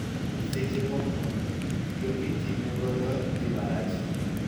Seche moko, yoo mitime godo dhii marach.